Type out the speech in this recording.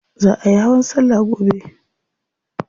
Za ayi hawan salla gobe.